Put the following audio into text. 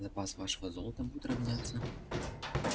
запас вашего золота будет равняться